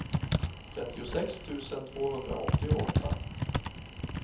trettiosex tusen tvåhundraåttioåtta